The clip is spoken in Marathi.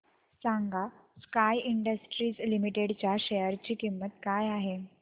सांगा स्काय इंडस्ट्रीज लिमिटेड च्या शेअर ची किंमत काय आहे